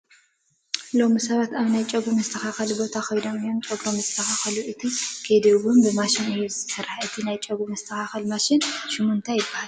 ሎሚ ሰባት ኣብ ናይ ጨጉሪ ምስትኽኻለ ቦታ ከይዶም እዮም ጨጉሮም ዝስተኸኸሉ፡፡ እቲ ከይዲ እውን ብማሽን እዩ ዝስራሕ፡፡ እቲ ናይ ጨጉሪ መስተኻኸሊ ማሽን ሽሙ ታይ ይበሃል?